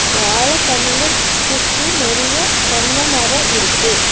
வாழ கண்ணுங்க சு சுத்தி நெறையா தென்ன மரோ இருக்கு.